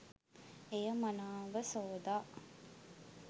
එය මනාව සෝදා